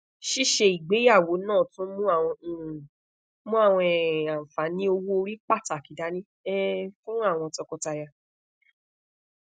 ṣiṣe igbeyawo naa tun mu awọn um mu awọn um anfani owoori pataki dani um fun awọn tọkọtaya